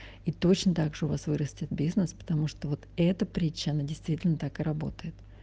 и точно так же у вас вырастет бизнес потому что вот эта притча она действительно так и работает